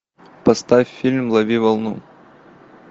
поставь фильм лови волну